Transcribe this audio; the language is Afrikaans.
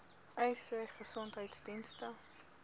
uys sê gesondheidsdienste